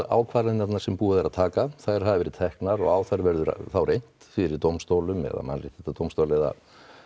ákvarðanirnar sem búið er að taka þær hafa verið teknar og á þær verður reynt fyrir dómstólum eða mannréttindadómstól eða